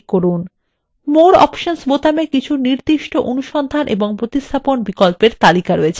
more options বোতামে কিছু নির্দিষ্ট অনুসন্ধান of প্রতিস্থাপন বিকল্পের একটি তালিকা রয়েছে